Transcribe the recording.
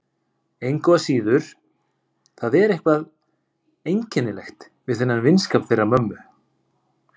Engu að síður, það er eitthvað einkennilegt við þennan vinskap þeirra mömmu.